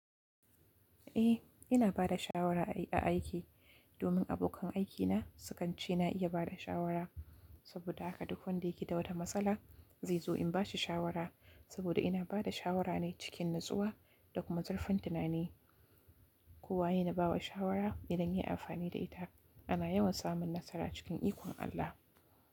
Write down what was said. Eh, ina ba da shawara a aiki domin abokan aikina sukan ce na iya ba da shawara. Saboda haka duk wanda yake da wata matsala zai zo in bashi shawara. Saboda ina ba da shawara ne cikin natsuwa da kuma zurfin tunani. Ko waye na ba wa shawara idan ya yi amfani da ita, ana yawan samun nasara cikin ikon Allah.